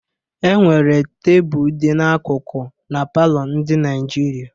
Enwere tebụl dị n'akụkụ na palọ ndị Naijiria.